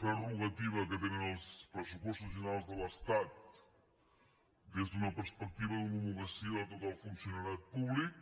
prerrogativa que tenen els pressupostos generals de l’estat des d’una perspectiva d’homologació de tot el funcionariat públic